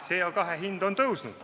CO2 hind on tõusnud.